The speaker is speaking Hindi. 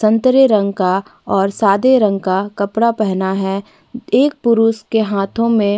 संतरे रंग का और सादे रंग का कपड़े पहना हैं एक पुरुष के हाथों मे--